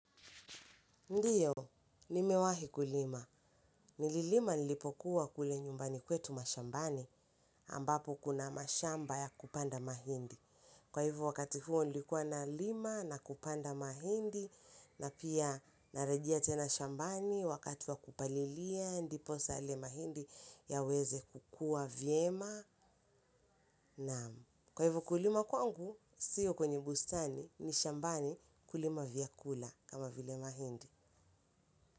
Ndiyo, nimewahi kulima. Nililima nilipokuwa kule nyumbani kwetu mashambani ambapo kuna mashamba ya kupanda mahindi. Kwa hivo wakati huo nilikuwa nalima na kupanda mahindi na pia narejea tena shambani wakati wa kupalilia ndiposa yale mahindi yaweze kukua vyema naam. Kwa hivo kulima kwangu, sio kwenye bustani ni shambani kulima vyakula kama vile mahindi.